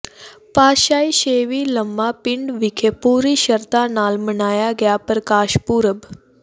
ਪਾਤਿਸ਼ਾਹੀ ਛੇਵੀਂ ਲੰਮਾ ਪਿੰਡ ਵਿਖੇ ਪੂਰੀ ਸ਼ਰਧਾ ਨਾਲ ਮਨਾਇਆ ਗਿਆ ਪ੍ਰਕਾਸ਼ ਪੁਰਬ